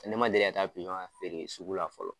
Ne ma deli ka taa pizɔn feere sugu la fɔlɔ.